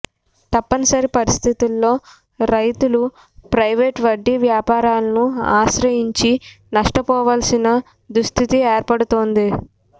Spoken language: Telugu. తప్పనిసరి పరిస్థితుల్లో రైతులు ప్రైవేట్ వడ్డీ వ్యాపారులను ఆశ్రయించి నష్టపోవాల్సిన దుస్థితి ఏర్పడుతోంది